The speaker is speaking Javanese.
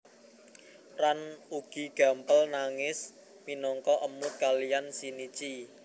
Ran ugi gampel nangis minangka emut kalian Shinichi